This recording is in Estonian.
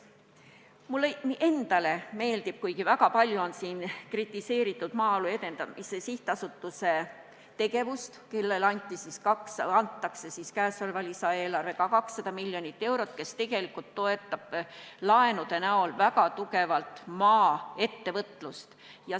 Mulle endale meeldib otsus, mida on siin küll väga palju kritiseeritud, anda Maaelu Edendamise Sihtasutusele käesoleva lisaeelarvega 200 miljonit eurot, et toetada laenude andmisega väga tugevalt maaettevõtlust.